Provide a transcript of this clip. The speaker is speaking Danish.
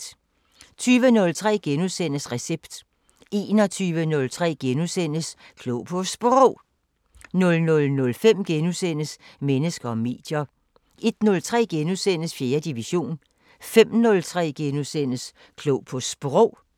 20:03: Recept * 21:03: Klog på Sprog * 00:05: Mennesker og medier * 01:03: 4. division * 05:03: Klog på Sprog *